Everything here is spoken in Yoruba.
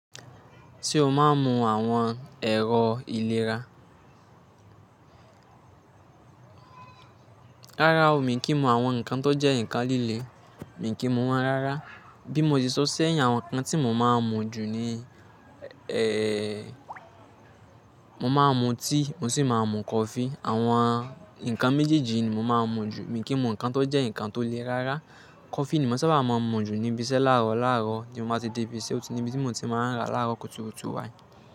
Ṣé o máa ń mu àwọn ẹ̀rọ ìlera? Rárá o, mi kì í mu àwọn nǹkan tó jẹ́ ǹkan líle. Mi kì í mu wọ́n rárá. Bí mo ti sọ sẹ́yìn, àwọn nǹkan tí mo máa ń mu jù ni, ẹ́ẹ́, mo máa ń mu tíì, mo sì máa ń mu kọfí. Àwọn nǹkan méjèèjì ni mo máa ń mu jù. Mi kì í mu nǹkan tó jẹ́ ǹkan tó le rárá. Kọfí ni mo sábà máa ń mu jù níbi iṣẹ́. Láàárọ̀ láàárọ̀ ti mo máa ti dé ibi iṣẹ́, oti ni ibi tí mo ti máa ń rà láàárọ̀ kùtùkùtù wái.